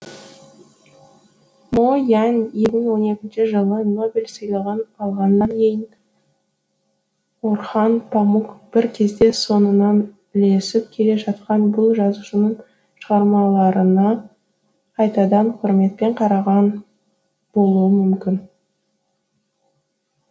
мо янь екі мың он екінші жылы нобель сыйлығын алғаннан кейін орхан памук бір кезде соңынан ілесіп келе жатқан бұл жазушының шығармаларына қайтадан құрметпен қараған болуы мүмкін